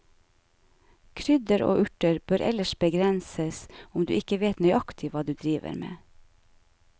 Krydder og urter bør ellers begrenses, om du ikke vet nøyaktig hva du driver med.